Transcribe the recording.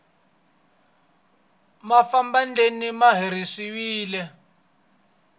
mafadeni ma herisiwile